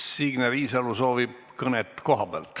Signe Riisalo soovib kõnet kohapealt.